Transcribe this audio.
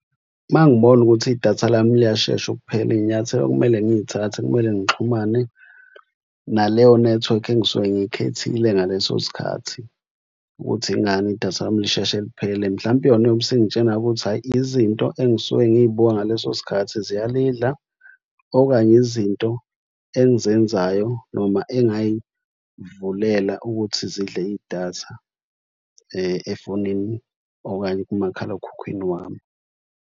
Uma ngibona ukuthi idatha lami liyashesha ukuphela iy'nyathelo okumele ngiy'thathe kumele ngixhumane naleyo nethiwekhi engisuke ngiyikhethile ngaleso sikhathi ukuthi ingani idatha lami lisheshe liphele. Mhlawumpe yona iyobe isingitshena-ke ukuthi hhayi izinto engisuke ngiyibuka ngaleso sikhathi ziyalidla okanye izinto engizenzayo noma engay'vulela ukuthi zidle idatha efonini okanye kumakhalekhukhwini wami.